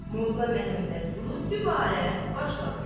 Molla Məmmədqulu dübarə başladı.